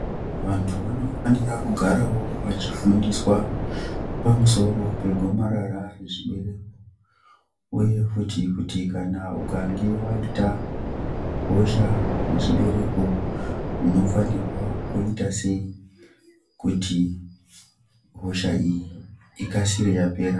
Vantu vanofanire kugarawo vachifundiswa pamusoro pegomarara rechibereko uye futi kuti kana ukange waita hosha yechibereko anofanirwa kuita sei kuti hosha iyi ikasire yapera.